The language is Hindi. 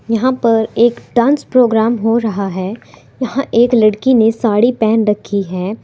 यहां पर एक डांस प्रोग्राम हो रहा है यहां एक लड़की ने साड़ी पहन रखी है।